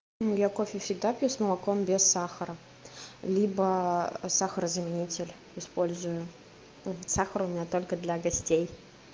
я кофе всегда пью с молоком без сахара либо сахарозаменитель использую сахар меня только для гостей